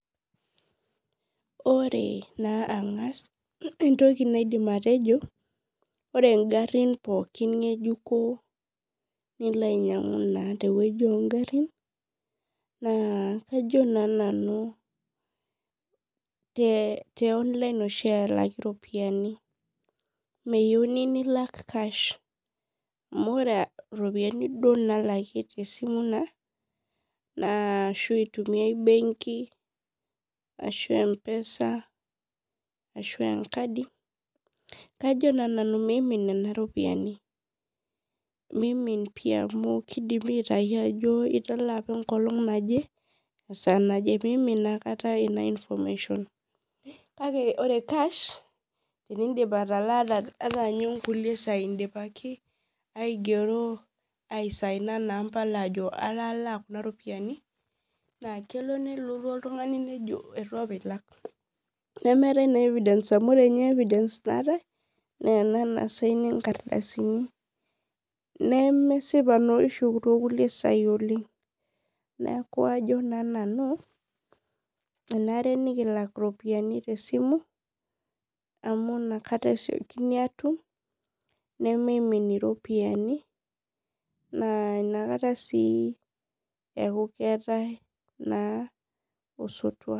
Ore na angas entoki naidim atejo ore ngarin pookin ngejuko nilo ainyangu tewoi ongarin na kajo nanu te online oshibelaki ropiyani meyieuni nilak cash na ore ropiyani nidol ake tesimu ashi itumiai embenki ashu mpesa ashuvenkadi kajo na nanu mimin nona ropiyani mimin pii amu kidimi aitau ajo italaa apa enkolong naje esaa naje mimin naakata, kakeore cash ata ingero aisgnia naa mpala ajo atalaa apa kuna ropiyani kelo nelotu oltungani nejo itu apa ilak nemeetai naa evidence naatae amu ore nye ena evidence naatae naisigni nkardasini nemesipa oleng kenare nikilak ropiyani tesimu amu nakata mimin iropiyiani na nakata na eetae osotua.